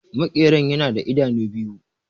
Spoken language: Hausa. Makeran yana da idanu biyu